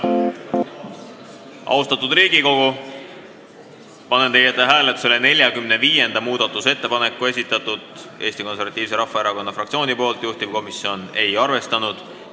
Austatud Riigikogu, panen hääletusele 45. muudatusettepaneku, mille on esitanud Eesti Konservatiivse Rahvaerakonna fraktsioon, juhtivkomisjon ei ole arvestanud.